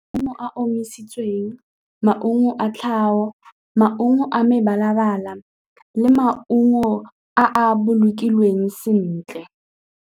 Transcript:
Maungo a a omisitsweng, maungo a tlhago, maungo a mebala-bala le maungo a a bolokilweng sentle.